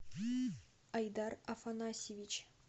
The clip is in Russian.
айдар афанасьевич